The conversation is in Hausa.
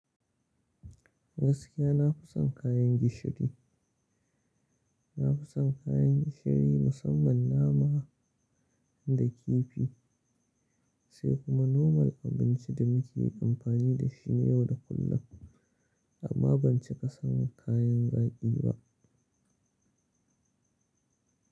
Gaskiya na fi son kayan gishiri. Na fi son kayan gishiri musamman nama da kifi sai kuma normal abinci da muke amfani da shi ne yau da kullum. Amma ban ci ƙasan kayan zaƙi ba.